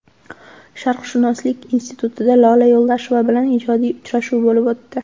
Sharqshunoslik institutida Lola Yo‘ldosheva bilan ijodiy uchrashuv bo‘lib o‘tdi .